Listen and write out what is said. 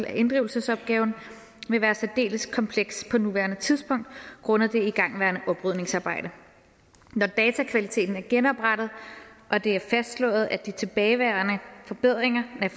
af inddrivelsesopgaven vil være særdeles kompleks på nuværende tidspunkt grundet det igangværende oprydningsarbejde når datakvaliteten er genoprettet og det er fastslået at de tilbageværende fordringer er